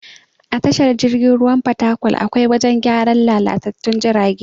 A tashar jirgin ruwan fatakwal akwai wajen gyaran lalatattun jirage.